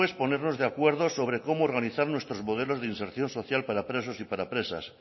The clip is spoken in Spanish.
pues ponernos de acuerdo sobre cómo organizar nuestros modelos de reinserción social para presos y para presas